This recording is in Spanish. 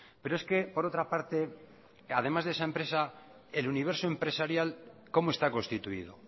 pero es que por otra parte además de esa empresa el universo empresarial cómo está constituido